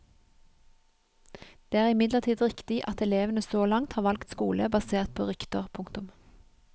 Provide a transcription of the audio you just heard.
Det er imidlertid riktig at elevene så langt har valgt skole basert på rykter. punktum